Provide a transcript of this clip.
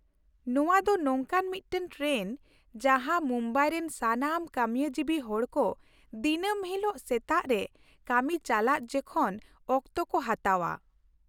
ᱱᱚᱶᱟ ᱫᱚ ᱱᱚᱝᱠᱟᱱ ᱢᱤᱫᱴᱟᱝ ᱴᱨᱮᱱ ᱡᱟᱦᱟᱸ ᱢᱩᱢᱵᱟᱭ ᱨᱮᱱ ᱥᱟᱱᱟᱢ ᱠᱟᱹᱢᱤᱭᱟᱹ ᱡᱤᱵᱤ ᱦᱚᱲᱠᱚ ᱫᱤᱱᱟᱹᱢ ᱦᱤᱞᱳᱜ ᱥᱮᱛᱟᱜ ᱨᱮ ᱠᱟᱹᱢᱤ ᱪᱟᱞᱟᱜ ᱡᱚᱠᱷᱮᱱ ᱚᱠᱛᱚ ᱠᱚ ᱦᱟᱛᱟᱣᱼᱟ ᱾